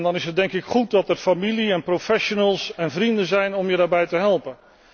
En dan is het, denk ik, goed dat er familie en professionals en vrienden zijn om je daarbij te helpen.